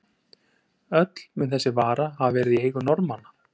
Öll mun þessi vara hafa verið í eigu Norðmanna.